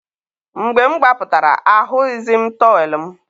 mgbe m gbapụtara, ahụghịzi m tọwel m.